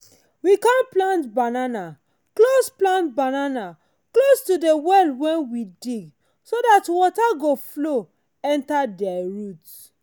we com plant banana close plant banana close to de well wen we dig so dat water go flow enter de roots.